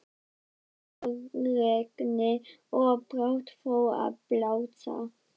Í kraparegni, og brátt fór að blása.